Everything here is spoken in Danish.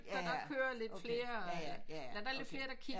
Så der kører lidt flere der er lidt flere der kigger